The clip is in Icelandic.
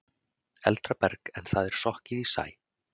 Eldra berg en það er sokkið í sæ.